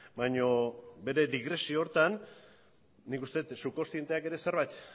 baina bere digresio horretan nik uste dut subkontzienteak ere zerbait